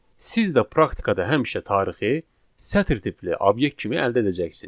Siz də praktikada həmişə tarixi sətr tipli obyekt kimi əldə edəcəksiniz.